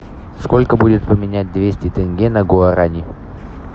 сколько будет поменять двести тенге на гуарани